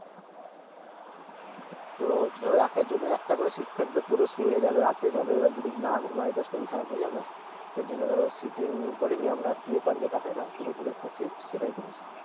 তো ধরো একেকজনের একটা করে Sit থাকবে পুরো শুয়ে যাবে রাতে যাবে এবার যদি না ঘুমাই তো শরীর খারাপ হয়ে যাবে না সেইজন্য ধরো Sitting করিনি আমরা Sleeper যেটা হয় না পুরোপুরি একটা Sit সেটাই করেছি